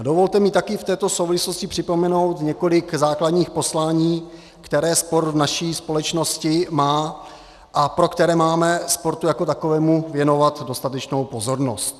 A dovolte mi také v této souvislosti připomenout několik základních poslání, která sport v naší společnosti má a pro která máme sportu jako takovému věnovat dostatečnou pozornost.